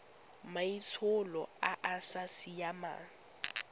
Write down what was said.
maitsholo a a sa siamang